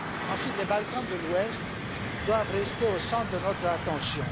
Ensuite, les Balkans de l'Ouest doivent rester au centre de notre attention.